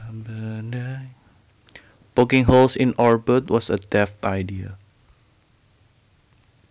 Poking holes in our boat was a daft idea